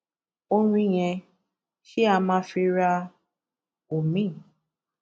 orín yẹn ṣeé á máa fi ra omiín